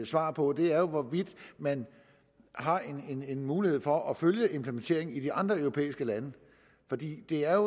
svar på er hvorvidt man har en en mulighed for at følge implementeringen i de andre europæiske lande for det er